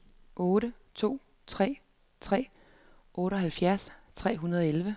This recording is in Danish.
otte to tre tre otteoghalvfjerds tre hundrede og elleve